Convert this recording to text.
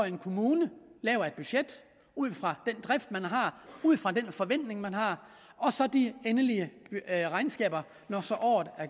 en kommune laver ud fra den drift man har ud fra den forventning man har og så de endelige regnskaber når